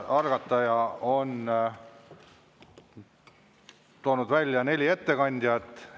Algataja on toonud välja neli ettekandjat.